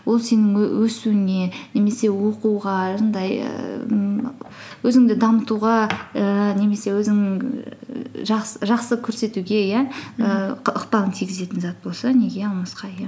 ол сенің өсуіңе немесе оқуға жаңағыдай ммм өзіңді дамытуға ііі немесе өзіңнің ііі жақсы көрсетуге иә і ықпалын тигізетін зат болса неге алмасқа иә